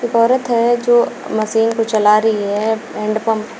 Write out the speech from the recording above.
एक औरत है जो मशीन को चला रही है हैंड पंप